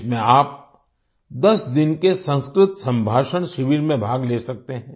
इसमें आप 10 दिन के संस्कृत संभाषण शिविर में भाग ले सकते हैं